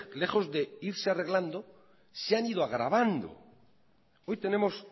lejos de irse arreglando se han ido agravando hoy tenemos